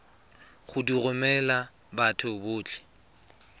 go di romela batho botlhe